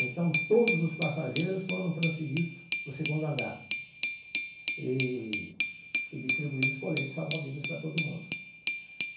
Então, todos os passageiros foram transferidos para o segundo andar e e distribuídos coletes, salva-vidas para todo mundo.